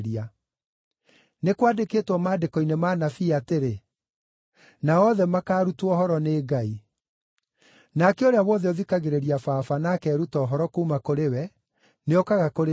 Nĩ kwandĩkĩtwo maandĩko-inĩ ma Anabii atĩrĩ, ‘Nao othe makaarutwo ũhoro nĩ Ngai.’ Nake ũrĩa wothe ũthikagĩrĩria Baba na akeeruta ũhoro kuuma kũrĩ we, nĩokaga kũrĩ niĩ.